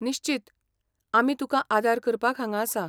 निश्चीत, आमी तुकां आदार करपाक हांगा आसा.